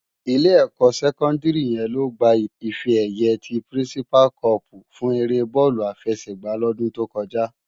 Ilé ékò sèkòndári yèn ló gbá ifè èyë ti pirinsipá còpú fún éré bòlú àfèsègbá lòdún tókòjá